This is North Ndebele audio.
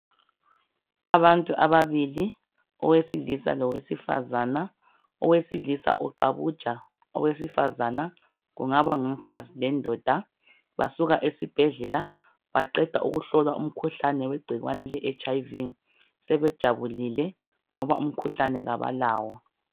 Abantu ababili owesilisa lowesifazana. Owesilisa uqabuja owesifazana kungaba ngumfazi lendoda. Basuka esibhedlela baqeda kuhlolwa umkhuhlane wegcikwane le HIV sebejabulile ngoba umkhuhlane abalawo.